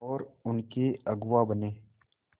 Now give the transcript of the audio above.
और उनके अगुआ बने